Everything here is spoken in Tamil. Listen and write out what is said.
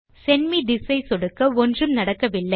செண்ட் மே திஸ் ஐ சொடுக்க ஒன்றும் நடக்கவில்லை